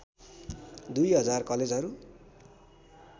दुई हजार कलेजहरू